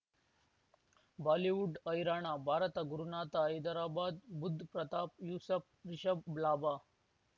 Bollywood ಹೈರಾಣ ಭಾರತ ಗುರುನಾಥ ಹೈದರಾಬಾದ್ ಬುಧ್ ಪ್ರತಾಪ್ ಯೂಸಫ್ ರಿಷಬ್ ಲಾಭ